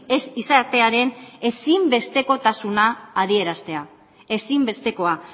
ez izatearen ezinbestekotasuna adieraztea ezinbestekoa